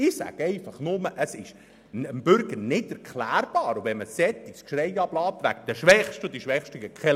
Ich sage nur, dass es dem Bürger nicht erklärbar ist, wenn man ein derartiges Geschrei wegen den Schwächsten ablässt, die keine Lobby hätten.